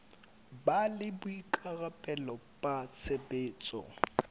ba le boikarabelo ba tshebetso